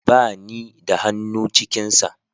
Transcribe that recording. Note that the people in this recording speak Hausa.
Ba ni da hannu cikin sa